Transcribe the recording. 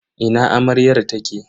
Ina amaryar take?